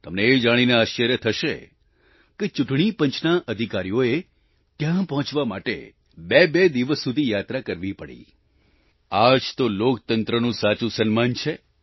તમને એ જાણીને આશ્ચર્ય થશે કે ચૂંટણી પંચના અધિકારીઓએ ત્યાં પહોંચવા માટે બેબે દિવસ સુધી યાત્રા કરવી પડી આ જ તો લોકતંત્રનું સાચું સન્માન છે